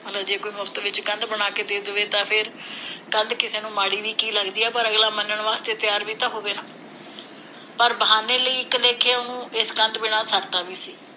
ਮਤਲਬ ਜੇ ਕੋਈ ਮੁਫ਼ਤ ਚ ਕਿਸੇ ਨੂੰ ਕੰਧ ਬਣਾ ਕੇ ਦੇ ਦਵੇ ਤਾਂ ਫੇਰ ਕੰਧ ਕਿਸੇ ਨੂੰ ਮਾੜੀ ਵੀ ਕਿ ਲਗਦੀ ਹੈ, ਪਰ ਅਗਲਾ ਮੰਨਣ ਵਾਸਤੇ ਤਿਆਰ ਵੀ ਤਾਂ ਹੋਵੇ ਨਾ ਪਰ ਬਹਾਨੇ ਲਈ, ਇਕ ਲੇਖੇ, ਉਹਨੂੰ ਇਸ ਕੰਧ ਬਿਨਾ ਸਰਦਾ ਵੀ ਸੀ।